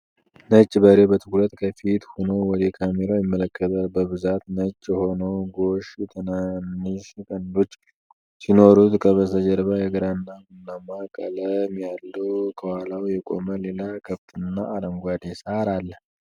ነጭ በሬ በትኩረት ከፊት ሆኖ ወደ ካሜራው ይመለከታል። በብዛት ነጭ የሆነው ጎሽ ትናንሽ ቀንዶች ሲኖሩት፣ ከበስተጀርባ የግራና ቡናማ ቀለም ያለው ከኋላው የቆመ ሌላ ከብትና አረንጓዴ ሣር አለ።